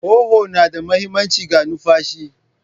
Huhu na da mahimmanci ga numfashi.